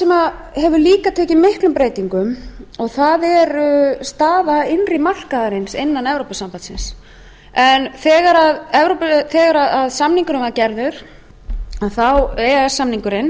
hefur líka tekið miklum breytingum er staða innri markaðarins innan evrópusambandsins en þegar samningurinn var gerður e e s samningurinn